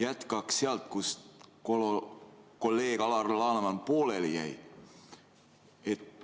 Jätkaks sealt, kus kolleeg Alar Laneman pooleli jäi.